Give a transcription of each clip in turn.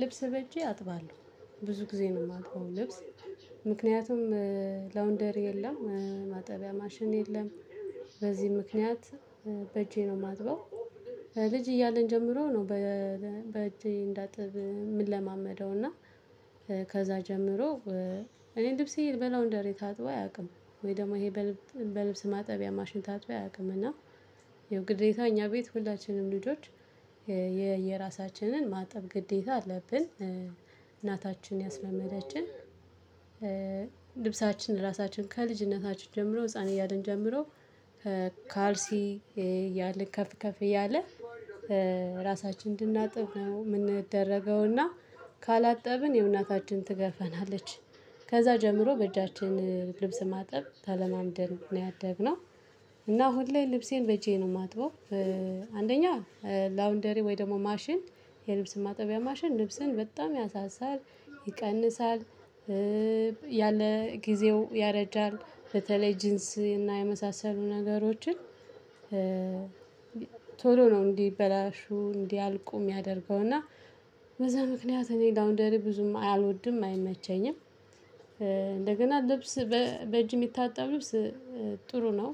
ልብስ በእጄ አጥባለሁ ብዙ ጊዜ ነው የማጥበው ልብስ ምክንያቱም ላውንደሪ የለም ማጠቢያ ማሽን የለም በዚህ ምክንያት በእጄ ነው የማጥበው። ልጅ እያለን ጀምሮ ነው። በእጅ እንዳጥብ የምንለማመደው እና ከዛ ጀምሮ። እኔ ልብሴ ልበላው እንደሪ ታጥቦ አያውቅም ወይ ደግሞ ይሄ በልብስ ማጠቢያ ማሽን ታጥቦ አያውቅም። እና የግዴታ እኛ ቤት ሁላችንም ልጆች። የየራሳችንን ማጠብ ግዴታ አለብን እናታችን ያስለመመዳችን። ልብሳችን ራሳችን ጀምሮ ህፃን እያልን ጀምሮ። ከካልሲ እያልን ከፍ ከፍ እያለ ራሳችንን እንድናጥብ ነው የምንደረገውና ካላጠብን የእናታችን ትገፋናለቾ። ከዛ ጀምሮ በእጃችን ልብስ ማጠብ ተለማምደን ነው ያደግነው። እና ሁሌ ልብሴን በጄ ነው የማጥበው። አንደኛ ላውንደሪ ወይ ደግሞ ማሽን የልብስን ማጠቢያ ማሽን ልብስን በጣም ያሳሳል ይቀንሳል ያለ ጊዜው ያረጃል። በተለይ ጂንስ እና የመሳሰሉ ነገሮችን። ቶሎ ነው እንዲበላሹ እንዲያልቁ የሚያደርገው እና በዛ ምክንያት እኔ ላውንደሪ ብዙም አልወድም አይመቸኝም። እንደገና ልብስ በእጅ የሚታጠቡ ጥሩ ነው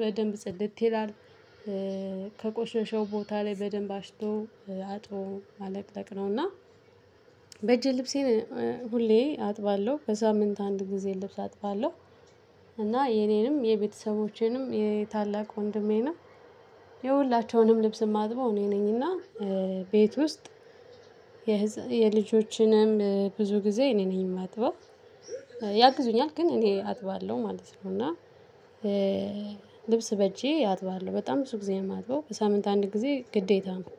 በደንብ ጸደት ይላል። ከቆሽሽው ቦታ ላይ በደንብ አሽቶ አጥቦ አለቅለቅ ነውና እና። በእጄ ልብሴን ሁሌ አጥባለሁ ከሳምንት አንድ ጊዜ ልብስ አጥባለሁ። የኔንም የቤተሰቦቼንም የታላቅ ወንድሜንም የሁላቸውንም ልብስ የማጥበው እኔ ነኝና። ቤት ውስጥ የልጆችንም ብዙ ጊዜ እኔ ነኝ የማጥበው። ያግዙኛል ግን እኔ አጥባለሁ ማለት ነው እና። ልብስ በጄ አጥባለሁ በጣም ብዙ ጊዜ የማጥበው በሳምንት አንድ ጊዜ ግዴታ ነው።